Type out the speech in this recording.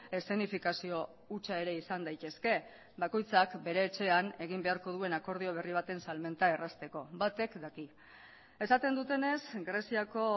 eszenifikazio hutsa ere izan daitezke bakoitzak bere etxean egin beharko duen akordio berri baten salmenta errazteko batek daki esaten dutenez greziako